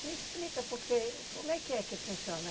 Me explica porque, como é que é que funciona?